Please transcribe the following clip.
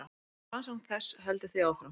Rannsókn þess heldur því áfram.